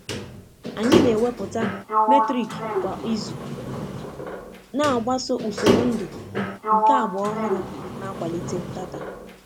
Anyi na eweputa Metrik kwa izu, na agbasa ụsoro ndụ nke agba ọhuru na-akwalite data